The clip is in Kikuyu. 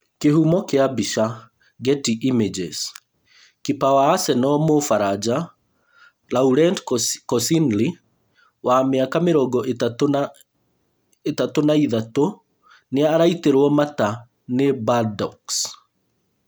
Kĩhumo kĩa mbica, Getty images. Kipa wa Arsenal mũ-baranja Laurent Koscielny, wa mĩaka mĩrongo ĩtatũ na ĩtatũ, nĩaraitĩrwo mata nĩ Bordeaux.